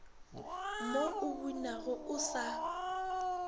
mo o bunago o sa